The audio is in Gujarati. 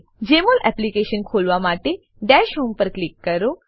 જમોલ એપ્લીકેશન ખોલવા માટે દશ હોમ ડેશ હોમ પર ક્લિક કરો